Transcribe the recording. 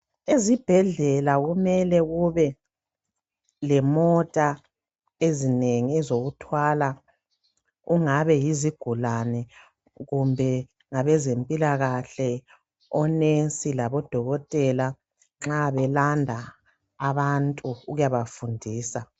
Ezibhedlela kumele kube lemota ezinengi zokuthwala okungabe yizigulane kumbe ngabezempilakahle onensi labodokotela nxa belanda abantu ukuyabafundisa.